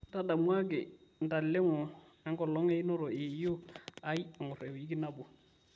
ntadamuaki ntalengo enkolong einoto e yieyi aai engor e wiki nabo